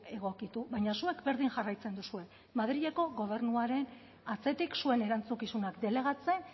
egokitu baina zuek berdin jarraitzen duzue madrileko gobernuaren atzetik zuen erantzukizunak delegatzen